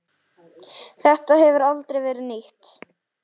Þetta hefur aldrei verið nýtt.